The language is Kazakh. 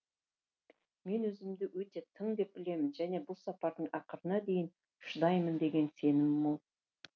мен өзімді өте тың деп білемін және бұл сапардың ақырына дейін шыдаймын деген сенімім мол